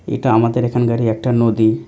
এটা আমাদের এখানকারই একটা নদী ।